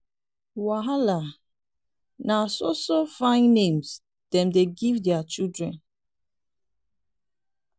wahala! na so so fine names dem dey give their children.